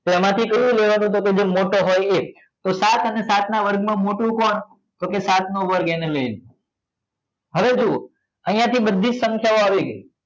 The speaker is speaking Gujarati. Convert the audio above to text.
તો એમાંથી કયું લેવાનું જે મોટો હોય એ તો સાત અને સાતના વર્ગમાં મોટું કોણ તો કે સાત નો વર્ગ એને લઈ લો હવે જુઓ અહીંયા થી બધી જ સંખ્યાઓ આવી ગઈ